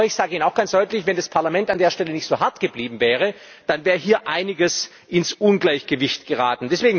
Aber ich sage Ihnen auch ganz deutlich Wenn das Parlament an der Stelle nicht so hart geblieben wäre, dann wäre hier einiges ins Ungleichgewicht geraten.